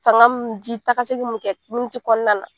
Fanga ni ji taa ka segin mun kɛ dumuni ti kɔnɔna na.